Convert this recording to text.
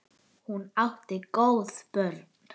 Hún átti góð börn.